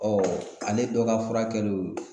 ale dɔ ka furakɛli